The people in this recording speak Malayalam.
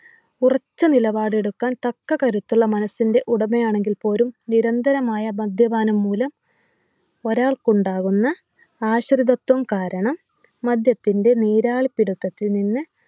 ഉറച്ച നിലപാടെടുക്കാൻ തക്ക കരുത്തുള്ള മനസിൻ്റെ ഉടമയാണെങ്കിൽ പോലും നിരന്തരമായ മദ്യപാനം മൂലം ഒരാൾക്കുണ്ടാകുന്ന ആശ്രിതത്വം കാരണം മദ്യത്തിൻ്റെ നീരാളിപ്പിടുത്തത്തിൽ നിന്ന്